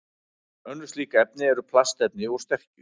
Önnur slík efni eru plastefni úr sterkju.